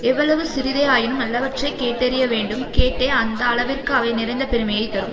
எவ்வளவு சிறிதே ஆயினும் நல்லவற்றைக் கேட்டறிய வேண்டும் கேட்டே அந்த அளவிற்கு அவை நிறைந்த பெருமையை தரும்